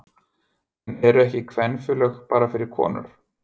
En eru ekki kvenfélög bara fyrir konur?